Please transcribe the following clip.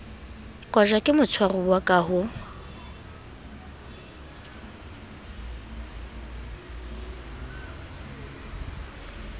kotjwa ke motshwaruwa ka ho